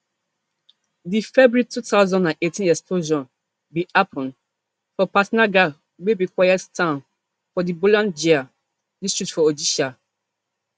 di february two thousand and eighteen explosion bin happun for patnagarh wey be quiet town for di bolangir district for odisha